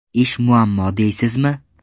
Ish muammo deysizmi?!